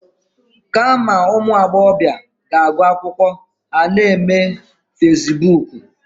Kama ụmụ agbọbịa ga-agụ akwụkwọ, ha na-eme fasibuuku.